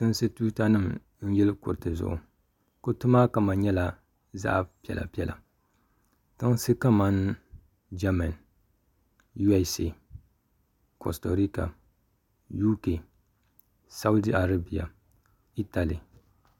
tiŋsi tuutanima n-yili kuriti zuɣu kuriti maa kama nyɛla zaɣ'piɛllɛpiɛlla tiŋsi kamani jamani USA kɔsitorika UK Saudi Arabia Italy